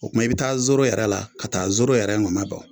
O tuma i bɛ taa soro yɛrɛ la ,ka taa soro yɛrɛ nɔnɔ bɔ.